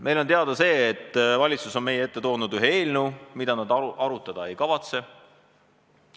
Meil on teada see, et valitsus on meie ette toonud ühe eelnõu, mida nad arutada ei kavatse.